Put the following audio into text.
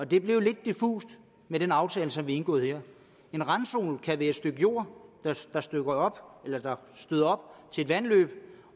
det blev lidt diffust med den aftale som blev indgået her en randzone kan være et stykke jord der støder op til et vandløb